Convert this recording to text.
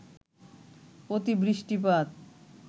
অতি বৃষ্টিপাত